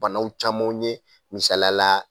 Banaw camanw ye misalala